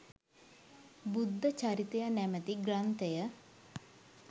බුද්ධ චරිතය නමැති ග්‍රන්ථය